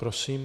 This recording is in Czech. Prosím.